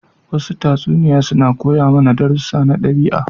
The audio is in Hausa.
Wasu tatsuniya suna koya mana darussu na daɓi'a.